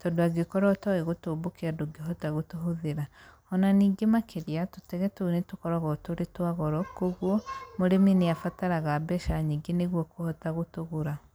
tondũ angĩkorwo ũtoĩ gũtũmbũkia ndũngĩhota gũtũhũthĩra. Ona ningĩ makĩria, tũtege tũu nĩ tũkoragwo tũrĩ twa goro, kũguo, mũrĩmi nĩ abataraga mbeca nyingĩ nĩguo kũhota gũtũgũra.